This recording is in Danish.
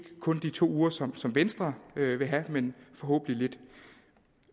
kun de to uger som som venstre vil have men forhåbentlig